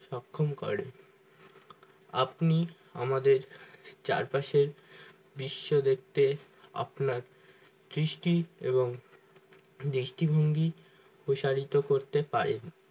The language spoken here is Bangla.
সক্ষম করে আপনি আমাদের চারপাশের বিশ্ব দেখতে আপনার সৃষ্টি এবং দৃষ্টিভঙ্গি প্রসারিত করতে পারে